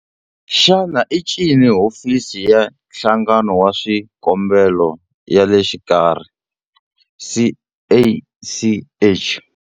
Xana i ncini Hofisi ya Nhlanganelo wa Swikombelo ya le Xikarhi, CACH?